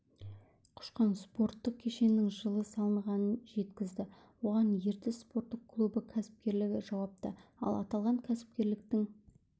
құшқан спорттық кешеннің жылы салынғанын жеткізді оған ертіс спорттық клубы кәсіпкерлігі жауапты ал аталған кәсіпкерліктің